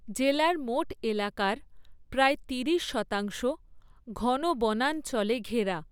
জেলার মোট এলাকার প্রায় তিরিশ শতাংশ ঘন বনাঞ্চলে ঘেরা।